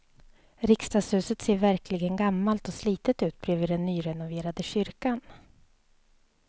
Riksdagshuset ser verkligen gammalt och slitet ut bredvid den nyrenoverade kyrkan.